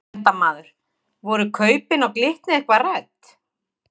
Fréttamaður: Voru kaupin á Glitni eitthvað rædd?